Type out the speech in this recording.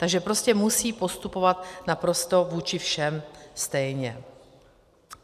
Takže prostě musí postupovat naprosto vůči všem stejně.